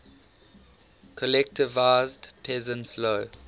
collectivized peasants low